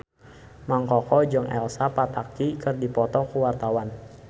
Mang Koko jeung Elsa Pataky keur dipoto ku wartawan